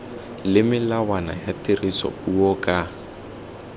le melawana ya tirisopuo ka